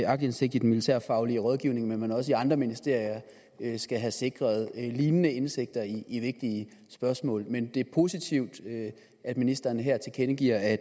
aktindsigt i den militærfaglige rådgivning men også i andre ministerier skal have sikret lignende indsigter i vigtige spørgsmål men det er positivt at ministeren her tilkendegiver at